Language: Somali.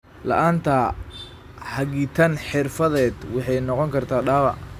La'aanta hagitaan xirfadeed waxay noqon kartaa dhaawac.